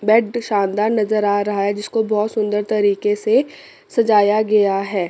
Bed शानदार नजर आ रहा है जिसको बहोत सुंदर तरीके से सजाया गया है।